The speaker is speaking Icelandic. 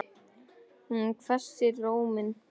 Hún hvessir róminn.